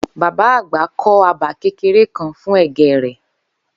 Bàbá àgbà kó̩ abà kéreké kan fún è̩gé̩ rè̩